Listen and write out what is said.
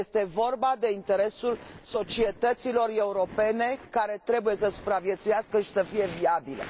Este vorba de interesul societăților europene, care trebuie să supraviețuiască și să fie viabile.